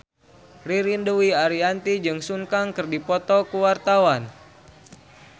Ririn Dwi Ariyanti jeung Sun Kang keur dipoto ku wartawan